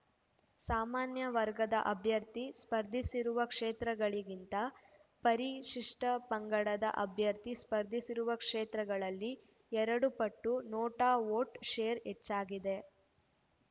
ಸಾಮಾನ್ಯ ವರ್ಗದ ಅಭ್ಯರ್ಥಿ ಸ್ಪರ್ಧಿಸಿರುವ ಕ್ಷೇತ್ರಗಳಿಗಿಂತ ಪರಿಶಿಷ್ಟಪಂಗಡದ ಅಭ್ಯರ್ಥಿ ಸ್ಪರ್ಧಿಸಿರುವ ಕ್ಷೇತ್ರಗಳಲ್ಲಿ ಎರಡು ಪಟ್ಟು ನೋಟಾ ವೋಟ್‌ ಶೇರ್‌ ಹೆಚ್ಚಾಗಿದೆ